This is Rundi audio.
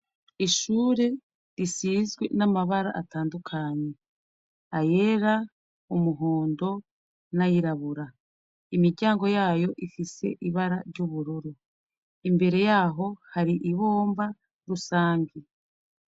Ishure risizwi n'amabara atandukanye ayera umuhondo n'ayirabura imiryango yayo ifise ibara ry'uburoro imbere yaho hari ibomba rusange.